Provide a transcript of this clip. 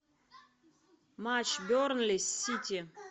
матч бернли с сити